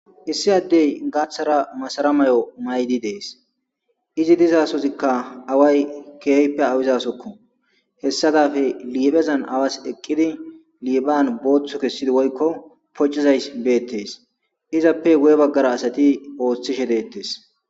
Issi addey gaaththaramasara mayo mayidii dees izi dizasozikka away keehippe awizasokko hessa dappe awazi liphphezan awazi booththu kesiddi woykko poocizayssi beetes izappe guuye baggara asati ooththishe dettes